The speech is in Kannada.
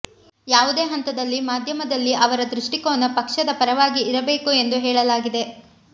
ಯಾವುದೇ ಹಂತದಲ್ಲಿ ಮಾಧ್ಯಮದಲ್ಲಿ ಅವರ ದೃಷ್ಟಿಕೋನ ಪಕ್ಷದ ಪರವಾಗಿ ಇರಬೇಕು ಎಂದು ಹೇಳಲಾಗಿದೆ